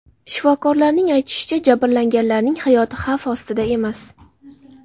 Shifokorlarning aytishicha, jabrlanganlarning hayoti xavf ostida emas.